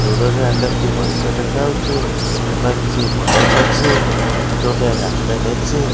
ଦୂର ରେ ଆକାଶ ଟି ପରିଷ୍କାର ଦେଖାଯାଉଚି ଏପାଖେ କିଛି ବର ଗଛ ଅଛି ଏଠି ଗୋଟେ ରାସ୍ତା ଟେ ଅଛି।